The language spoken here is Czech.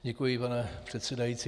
Děkuji, pane předsedající.